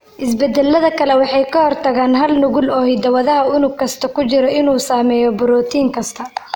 Isbeddellada kale waxay ka hortagaan hal nuqul oo hiddo-wadaha unug kasta ku jira inuu sameeyo borotiin kasta.